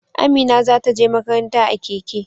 Amina za ta je makaranta a keke.